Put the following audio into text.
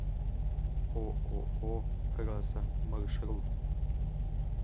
ооо красо маршрут